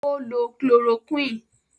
Ó lo kíloroquine.